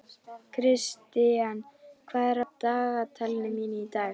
Kristian, hvað er á dagatalinu mínu í dag?